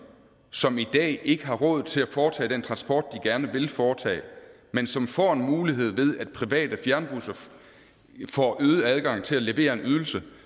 som i dag ikke har råd til at foretage den transport de gerne vil foretage men som får en mulighed ved at private fjernbusser får øget adgang til at levere en ydelse